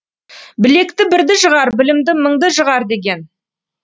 білекті бірді жығар білімді мыңды жығар деген